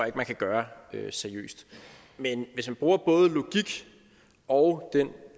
at man kan gøre seriøst men hvis man bruger både logik og den